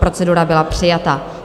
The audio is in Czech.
Procedura byla přijata.